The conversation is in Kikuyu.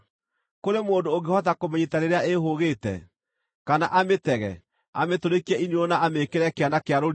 Kũrĩ mũndũ ũngĩhota kũmĩnyiita rĩrĩa ĩĩhũũgĩte, kana amĩtege, amĩtũrĩkie iniũrũ na amĩĩkĩre kĩana kĩa rũrigi?